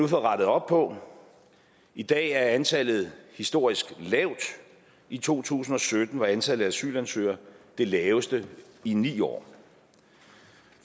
rettet op på i dag er antallet historisk lavt i to tusind og sytten var antallet af asylansøgere det laveste i ni år